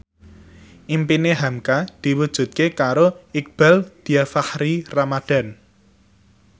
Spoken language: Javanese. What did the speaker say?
impine hamka diwujudke karo Iqbaal Dhiafakhri Ramadhan